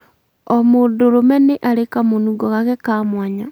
O mũndũrũme nĩ arĩ kamũnungo gake ka mwanya